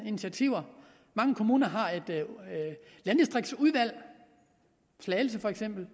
initiativer mange kommuner har et landdistriktsudvalg slagelse for eksempel